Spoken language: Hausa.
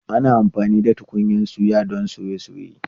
Ana amfani da tukunyan tuya don soye soye.